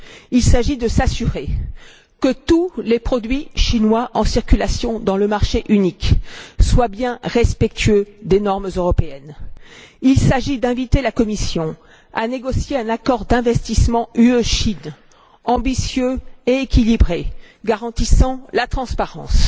Il s'agit de s'assurer que tous les produits chinois en circulation dans le marché unique soient bien respectueux des normes européennes. Il s'agit d'inviter la Commission à négocier un accord d'investissement UE Chine, ambitieux et équilibré, garantissant la transparence.